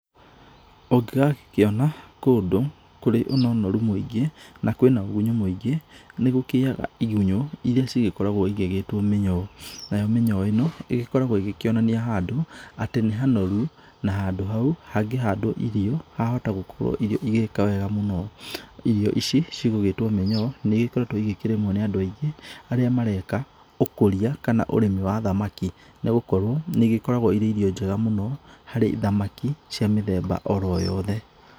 Ũngĩgagĩkĩona kũndũ kũrĩ na ũnoru mũingĩ na kwĩna hunyũ mũingĩ, nĩ gũkĩgĩaga igunyũ irĩa cigĩkoragwo igĩgĩtwo mĩnyoo. Nayo mĩnyoo ĩno, ĩgĩkoragwo ĩgĩkĩonania handũ atĩ nĩ hanoru na handũ hau hangĩhandwo irio, hahota gũkorwo irio igĩka wega mũno. Irio ici gũgĩtwo mĩnyoo, nĩ igĩkoretwo igĩkĩrĩmwo nĩ andũ aingĩ, arĩa mareka ũkũria, kana ũrĩmi wa thamaki. Nĩ gũkorwo nĩ igĩkoragwo irĩ irio njega mũno harĩ thamaki cia mĩthemba oro yothe.